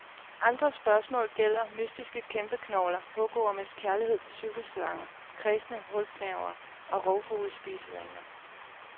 Andre spørgsmål gælder mystiske kæmpeknogler, hugormes kærlighed til cykelslanger, kræsne hulgnavere og rovfugles spisevaner.